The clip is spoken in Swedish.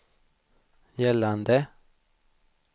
gällande